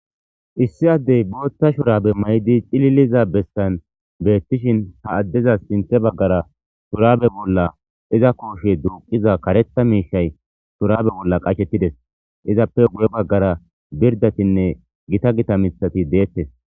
Issi addey bootha shurabe mayidi cililiza bessan beetishin ha addezas sinththe bagaara shurabe bolla iza kooshe duuqiza karetha miishay shurabe bolla qachetides; izappe guye bagaara birdatinne gita gita miththati de'etees.